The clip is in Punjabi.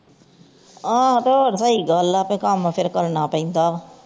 ਆਹੋ ਤੇ ਹੋਰ ਸਹੀ ਗਲ ਆ ਕਮ ਤੇ ਫੇਰ ਕਰਨਾ ਪੈਂਦਾ ਵਾ